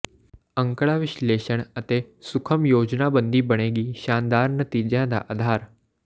ਅੰਕੜਾ ਵਿਸ਼ਲੇਸ਼ਣ ਅਤੇ ਸੁਖਮ ਯੋਜਨਾਬੰਦੀ ਬਣੇਗੀ ਸ਼ਾਨਦਾਰ ਨਤੀਜਿਆਂ ਦਾ ਆਧਾਰ